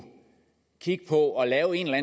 kigge på at lave en eller